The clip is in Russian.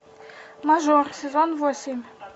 мажор сезон восемь